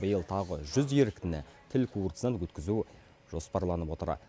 биыл тағы жүз еріктіні тіл курсынан өткізу жоспарланып отыр